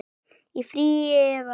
Í frí. eða?